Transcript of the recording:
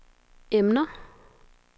emner